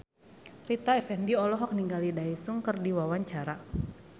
Rita Effendy olohok ningali Daesung keur diwawancara